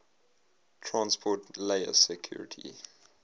transport layer security